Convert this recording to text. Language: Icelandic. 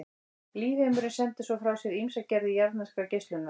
Lífheimurinn sendir svo frá sér ýmsar gerðir jarðneskrar geislunar.